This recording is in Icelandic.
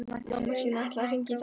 Mamma þín ætlaði að hringja í dag